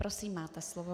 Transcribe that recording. Prosím, máte slovo.